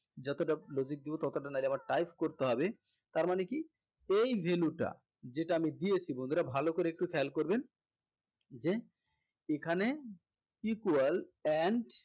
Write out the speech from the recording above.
যতটা logic দিবো ততটা নাইলে আমার type করতে হবে তার মানে কি এই value টা যেটা আমি দিয়েছি বন্ধুরা ভালো করে একটু খেয়াল করবেন যে এখানে equal and